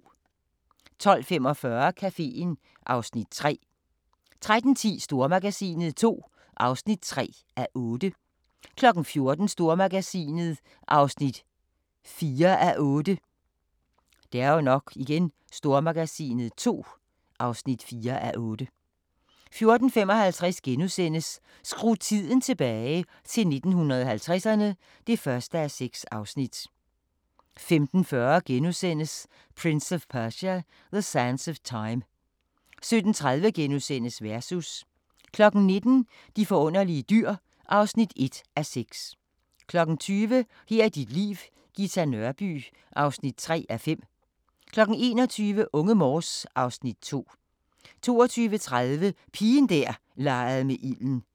12:45: Caféen (Afs. 3) 13:10: Stormagasinet II (3:8) 14:00: Stormagasinet (4:8) 14:55: Skru tiden tilbage – til 1950'erne (1:6)* 15:40: Prince of Persia: The Sands of Time * 17:30: Versus * 19:00: De forunderlige dyr (1:6) 20:00: Her er dit liv: Ghita Nørby (3:5) 21:00: Unge Morse (Afs. 2) 22:30: Pigen der legede med ilden